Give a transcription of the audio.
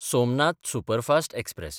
Somnath superfast express